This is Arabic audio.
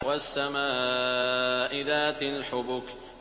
وَالسَّمَاءِ ذَاتِ الْحُبُكِ